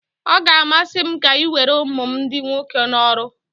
Ọ ga-amasị m ka ị were ụmụ m ndị nwoke n'ọrụ